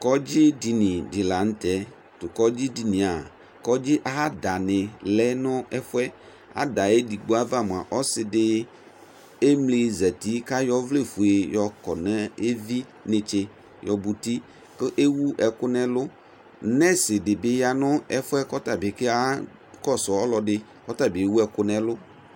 ƈɔɖʒi ɖiɲi ḷăŋωtɛ ƙɔɖʒị ɖiniɑ kɔɖʒï ădɑṇiɑ ăɖɑŋi lɛŋɛfωɛ ɑɖɑ ɛɖiɠɓoʋɑ ɔṣɖi ɛmlizati ƙɑyɔ ɔvlɛfuɛ yokonɛvinɛtsɛ yọbutinɛtsɛ kɛ ɛwuɛkuŋɛlω ɲéṣịɖibiyɑ ɲɛƒωɛ ƙɔṭɑɓi ƙɔṣụ ɔlɔḍɖi kɔṭɑbiɛwuɛkuɲɛlʊ